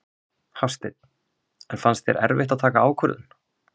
Hafsteinn: En fannst þér erfitt að taka ákvörðun?